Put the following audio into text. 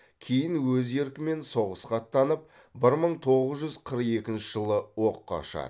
кейін өз еркімен соғысқа аттанып бір мың тоғыз жүз қырық екінші жылы оққа ұшады